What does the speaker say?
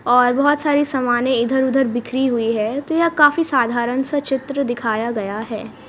और बहुत सारी सामानें इधर उधर बिखरी हुई है तो यह काफी साधारण सा चित्र दिखाया गया है।